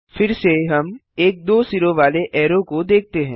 फिर से हम एक दो सिरों वाले ऐरो को देखते हैं